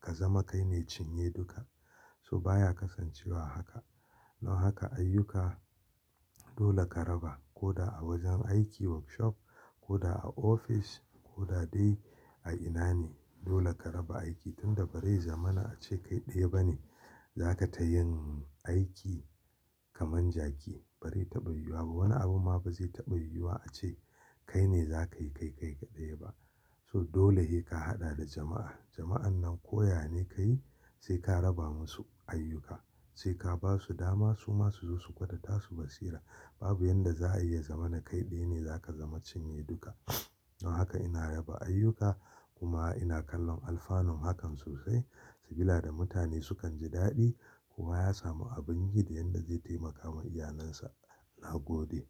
ka zama kai ne cinye duka. So baya kasancewa haka. Don haka ayyuka dole ka raba ko da a wajen aiki workshop ko da a ofis ko da dai a ina ne dole ka raba aiki tunda bari zamanin a ce kai ɗaya bane za ka ta yin aiki kamar jaki bare taɓa yiwuwa ba. Wani abu ma ba zai taɓa yiwuwa a ce kai ne za ka yi kai kai kaɗai ba. So dole he ka haɗa da jama'a. Jama'an nan ko ya ne ka yi sai ka raba musu ayyuka sai ka basu dama su ma su zo su gwada tasu basira. Babu yadda za a iya zama na kai ɗaya ne za ka zama cinye duka. Don haka ina raba ayyuka kuma ina kallon alfanun hakan sosai sabila da mutane sukan ji daɗi kuma ya samu abin gile yanda zai taimaka wa iyalinsa na gode.